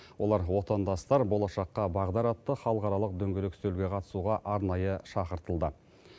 олар отандастар болашаққа бағдар атты халықаралық дөңгелек үстелге қатысуға арнайы шақыртылды